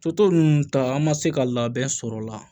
So ninnu ta an ma se ka labɛn sɔrɔ la